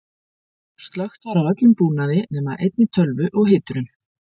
slökkt var á öllum búnaði nema einni tölvu og hiturum